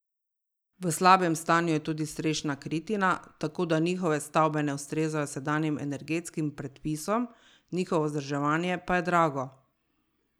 V slabem stanju je tudi strešna kritina, tako da njihove stavbe ne ustrezajo sedanjim energetskim predpisom, njihovo vzdrževanje pa je drago.